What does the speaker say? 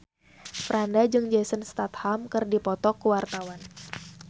Franda jeung Jason Statham keur dipoto ku wartawan